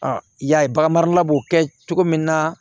i y'a ye bagan marala b'o kɛ cogo min na